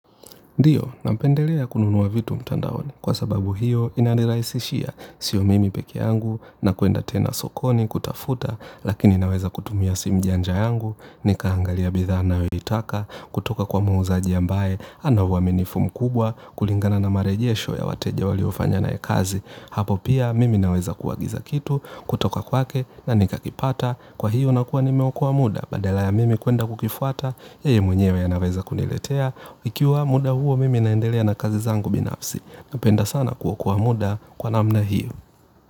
Ndiyo, napendelea kununua vitu mtandaoni, kwa sababu hiyo inanirahisishia, sio mimi peke yangu na kwenda tena sokoni kutafuta, lakini naweza kutumia simujanja yangu, nikaangalia bidhaa nayo itaka, kutoka kwa muuzaaji ambaye, ana uaminifu mkubwa, kulingana na marejesho ya wateja waliofanya naye kazi. Hapo pia mimi naweza kuagiza kitu kutoka kwake na nikakipata kwa hiyo na kuwa ni meokoa muda badala ya mimi kuenda kukifuata yeye mwenyewe anaweza kuniletea ikiwa muda huo mimi naendelea na kazi zangu binafsi napenda sana kuokoa muda kwa namna hiyo.